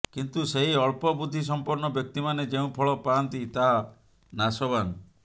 କିନ୍ତୁ ସେହି ଅଳ୍ପବୁଦ୍ଧି ସମ୍ପନ୍ନ ବ୍ୟକ୍ତିମାନେ ଯେଉଁ ଫଳ ପାଆନ୍ତି ତାହା ନାଶବାନ